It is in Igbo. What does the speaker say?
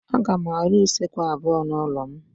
Aga m arụ usekwu abuo n'ụlọ m.